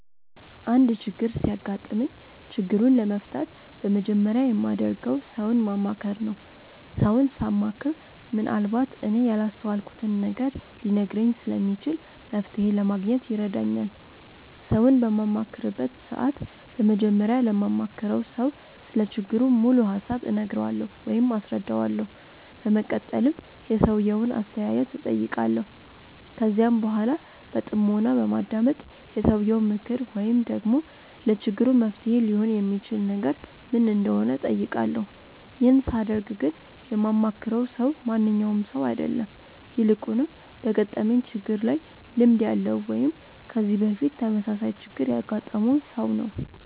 አንድ ችግር ሲያጋጥመኝ ችግሩን ለመፍታት በመጀመሪያ የማደርገው ሰውን ማማከር ነው። ሰውን ሳማክር ምንአልባት እኔ ያላስተዋልኩትን ነገር ሊነግረኝ ስለሚችል መፍተሔ ለማግኘት ይረዳኛል። ሰውን በማማክርበት ሰዓት በመጀመሪያ ለማማክረው ሰው ስለ ችግሩ ሙሉ ሀሳብ እነግረዋለሁ ወይም አስረዳዋለሁ። በመቀጠልም የሰውየውን አስተያየት እጠይቃለሁ። ከዚያም በኃላ በጥሞና በማዳመጥ የሰውየው ምክር ወይም ደግሞ ለችግሩ መፍትሔ ሊሆን የሚችል ነገር ምን እንደሆነ እጠይቃለሁ። ይህን ሳደርግ ግን የማማክረው ሰው ማንኛውም ሰው አይደለም። ይልቁንም በገጠመኝ ችግር ላይ ልምድ ያለው ወይም ከዚህ በፊት ተመሳሳይ ችግር ያገጠመውን ሰው ነው።